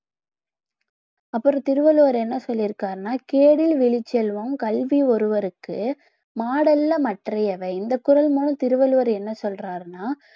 அப்புறம் திருவள்ளுவர் என்ன சொல்லி இருக்கிறார்னா கேடில் விழுச்செல்வம் கல்வி ஒருவருக்கு மாடல்ல மற்றவை எவை இந்த குரல் மூலமாக திருவள்ளுவர் என்ன சொல்றாருன்னா